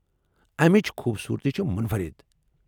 امِچ خوٗبصورتی چھِ مُنفرِد ۔